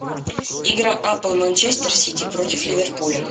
игра апл манчестер сити против ливерпуля